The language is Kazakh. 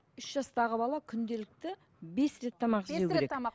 үш жастағы бала күнделікті бес рет тамақ жеу керек бес рет тамақ